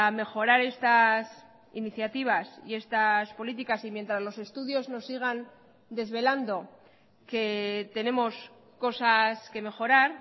mejorar estas iniciativas y estas políticas y mientras los estudios nos sigan desvelando que tenemos cosas que mejorar